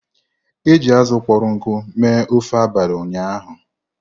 E ji azụ kpọrọ nkụ mee ofe abalị ụnyaahụ.